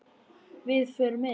Við förum inn!